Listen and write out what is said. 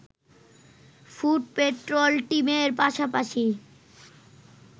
foot patrol টিমের পাশাপাশি